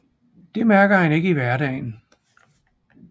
Det mærker han ikke i hverdagen